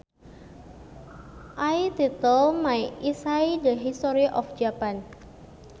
I titled my essay The History of Japan